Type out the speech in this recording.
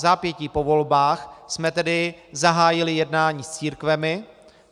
Vzápětí po volbách jsme tedy zahájili jednání s církvemi.